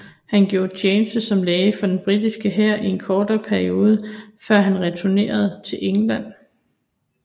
Han gjorde tjeneste som læge for den britiske hær i en kortere periode før han returnerede til England